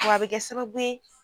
W'a i bi kɛ sababu